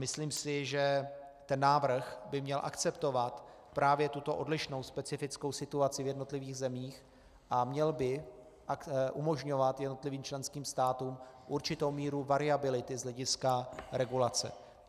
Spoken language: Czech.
Myslím si, že ten návrh by měl akceptovat právě tuto odlišnou specifickou situaci v jednotlivých zemích a měl by umožňovat jednotlivým členským státům určitou míru variability z hlediska regulace.